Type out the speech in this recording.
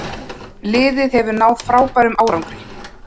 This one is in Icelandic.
Liðið hefur náð frábærum árangri.